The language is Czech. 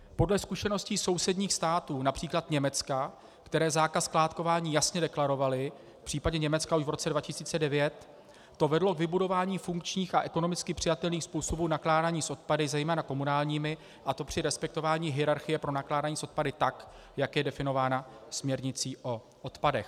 Podle zkušeností sousedních států, například Německa, které zákaz skládkování jasně deklarovaly - v případě Německa už v roce 2009 -, to vedlo k vybudování funkčních a ekonomicky přijatelných způsobů nakládání s odpady, zejména komunálními, a to při respektování hierarchie pro nakládání s odpady tak, jak je definováno směrnicí o odpadech.